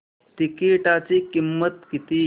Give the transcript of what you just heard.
तिकीटाची किंमत किती